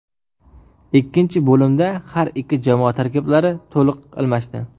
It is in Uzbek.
Ikkinchi bo‘limda har ikki jamoa tarkiblari to‘liq almashdi.